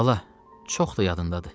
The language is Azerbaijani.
Bala, çox da yadındadır.